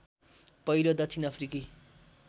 पहिलो दक्षिण अफ्रिकी